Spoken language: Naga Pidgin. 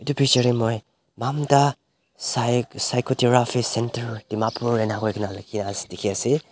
moi mamta phy physiotherapy center dimapur inahoi kuina dikhi ase.